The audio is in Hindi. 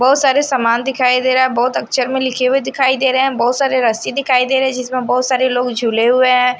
बहोत सारे सामान दिखाई दे रहा है बहोत अक्षर में लिखे हुए दिखाई दे रहे हैं बहोत सारे रस्सी दिखाई दे रहे हैं जिसमें बहोत सारे लोग झूले हुए हैं।